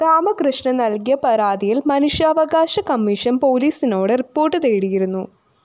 രാമകൃഷ്ണന്‍ നല്‍കിയ പരാതിയില്‍ മനുഷ്യാവകാശ കമ്മീഷൻ പോലീസിനോട് റിപ്പോർട്ട്‌ തേടിയിരുന്നു